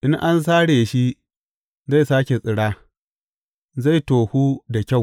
In an sare shi, zai sāke tsira, zai tohu da kyau.